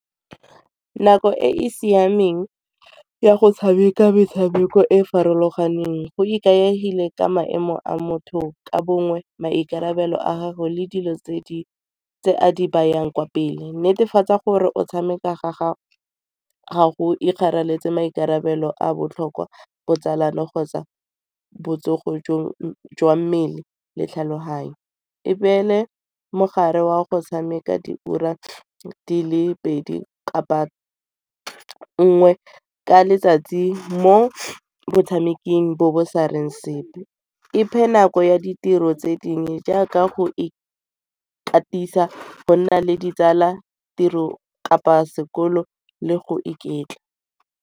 Nako e e siameng ya go tshameka metshameko e e farologaneng go ikaegile ka maemo a motho ka bongwe, maikarabelo a gagwe le dilo tse a di bayang kwa pele. Netefatsa gore o tshameka ga gago ga go ikaeletse maikarabelo a botlhokwa botsalano kgotsa botsogo jwa mmele le tlhaloganyo. E beele mogare wa go tshameka diura di le pedi kapa nngwe ka letsatsi mo batshameking bo bo sa reng sepe, iphe nako ya ditiro tse dingwe jaaka go ikatisa go nna le ditsala, tiro kapa sekolo le go iketla.